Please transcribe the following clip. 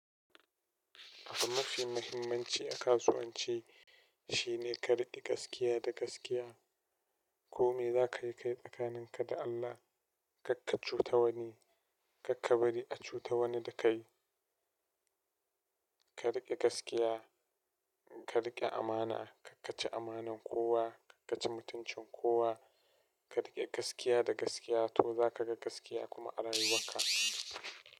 Abu mafi muhimmanci a kasuwanci shine ka riƙe gaskiya da gaskiya. Ko me za ka yi kai tsakaninka da Allah, kar ka cuta wani, kar ka bari a cuta wani da kai. Ka rike gaskiya, ka rike amana, karka ci amanan kowa, karka ci mutuncin kowa, ka rike gaskiya da gaskiya, to zaka ga gaskiya kuma a rayuwarka.